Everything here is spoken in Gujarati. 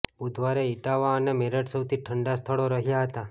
બુધવારે ઇટાવા અને મેરઠ સૌથી ઠંડા સ્થળો રહ્યા હતા